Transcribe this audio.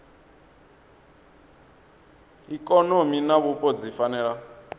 ikonomi na vhupo dzi fanela